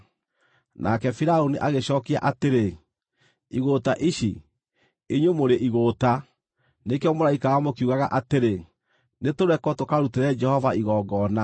Nake Firaũni agĩcookia atĩrĩ, “Igũũta ici! Inyuĩ mũrĩ igũũta! Nĩkĩo mũraikara mũkiugaga atĩrĩ, ‘Nĩtũrekwo tũkarutĩre Jehova igongona.’